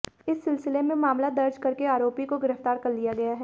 इस सिलसिले में मामला दर्ज करके आरोपी को गिरफ्तार कर लिया गया है